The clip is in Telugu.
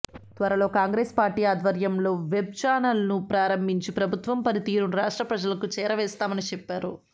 తర్వలో కాంగ్రెస్ పార్టీ ఆధ్వర్యంలో వెబ్ చానల్ను ప్రారంభించి ప్రభుత్వ పని తీరును రాష్ట్ర ప్రజలకు చేరవేస్తామని చెప్పారు